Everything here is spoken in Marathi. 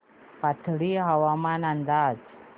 पाथर्डी हवामान अंदाज